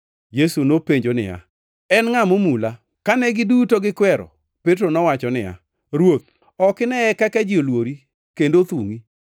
Yesu nopenjo niya, “En ngʼa momula?” Kane giduto gikwero, Petro nowacho niya, “Ruoth, ok ineye kaka ji olwori kendo othungʼi.”